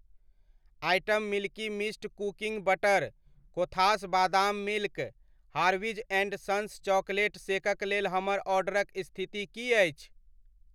Item milky mist cooking butter, Kothas badam milk, Harvey's and sons chocolate शेकक लेल हमर ऑर्डरक स्थिति की अछि?